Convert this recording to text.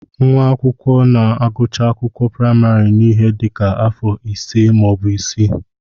Nwa akwụkwọ na-agụcha akwụkwọ praịmarị n'ihe dị ka afọ ise maọbụ isii